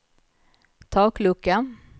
taklucka